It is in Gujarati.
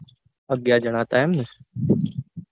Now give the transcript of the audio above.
અગિયાર જણા હતા એમ ને?